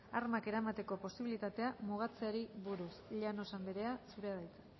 armak eramateko posibilitatea mugatzeari buruz llanos andrea zurea da hitza